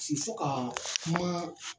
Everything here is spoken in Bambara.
fo ka kuma.